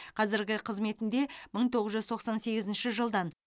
қазіргі қызметінде мың тоғыз жүз тоқсан сегізінші жылдан